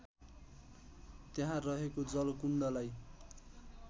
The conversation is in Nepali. त्यहाँ रहेको जलकुण्डलाई